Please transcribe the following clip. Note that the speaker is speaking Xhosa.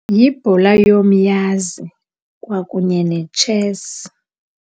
Yibhola yomyazi kwakunye netshesi.